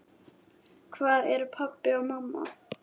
Hvar eru pabbi og mamma?